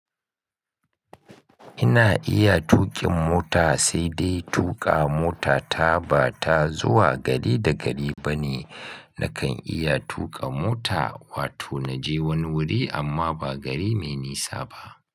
Ina iya tuƙin mota sai dai tuƙa mota ta ba ta zuwa gari da gari ba ne. Nakan iya tuƙa mota wato na je wani wuri amma ba gari mai nisa ba.